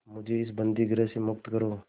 मुझे इस बंदीगृह से मुक्त करो